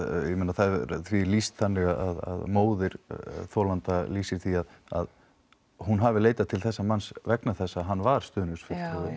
það því er lýst þannig að móðir þolanda lýsir því að hún hafi leitað til þessa manns vegna þess að hann var stuðningsfulltrúi